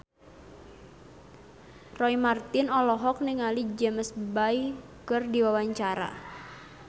Roy Marten olohok ningali James Bay keur diwawancara